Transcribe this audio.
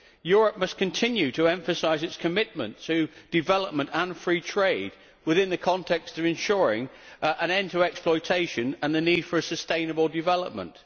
Europe must continue to emphasise its commitment to development and free trade within the context of ensuring an end to exploitation and meeting the need for sustainable development.